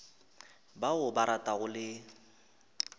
ba o ba ratago le